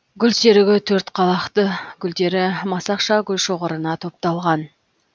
гүлсерігі төрт қалақты гүлдері масақша гүлшоғырына топталған